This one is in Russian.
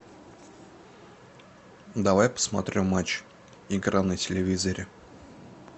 давай посмотрю матч игра на телевизоре